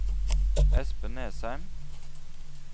Espen Nesheim